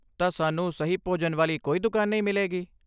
ਤਾਂ, ਸਾਨੂੰ ਸਹੀ ਭੋਜਨ ਵਾਲੀ ਕੋਈ ਦੁਕਾਨ ਨਹੀਂ ਮਿਲੇਗੀ?